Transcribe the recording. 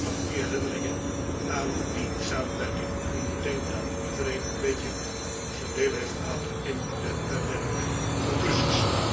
Ik heb alleen maar goede herinneringen aan die samenwerking en ik denk dat iedereen wel zo'n beetje zijn aandeel heeft gehad in de uiteindelijke conclusies.